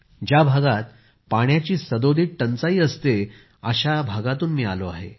ज्या भागात पाण्याची सदोदित टंचाई असते अशा राज्यातून मी आलो आहे